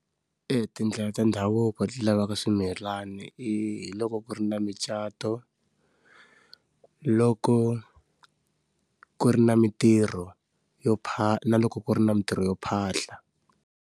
Etindlela ta ndhavuko ti lavaka swimilani i hi loko ku ri na micato, loko ku ri na mitirho yo pha na loko ku ri na mitirho yo phahla.